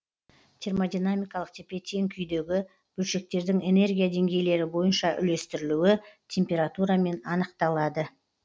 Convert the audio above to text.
термодинамикалық тепе тең күйдегі бөлшектердің энергия деңгейлері бойынша үлестірілуі температурамен анықталады